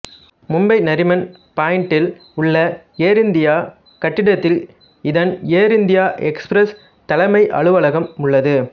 மும்பை நரிமன் பாயிண்டில் உள்ள Air India கட்டிடத்தில் இதன் ஏர் இந்தியா எக்ஸ்பிரஸ் தலைமை அலுவலகம் உள்ளது